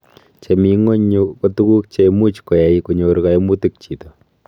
Che mi ngony yu ko tuguk chemuch koai konyor kaimutik chito